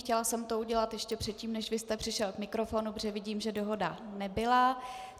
Chtěla jsem to udělat ještě předtím, než vy jste přišel k mikrofonu, protože vidím, že dohoda nebyla.